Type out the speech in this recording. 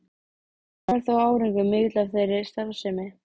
Ekki varð þó árangur mikill af þeirri starfsemi.